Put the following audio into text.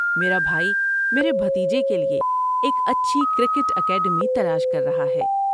میرا بھائی میرے بھتیجے کے لیے ایک اچھی کرکٹ اکیڈمی تلاش کر رہا ہے۔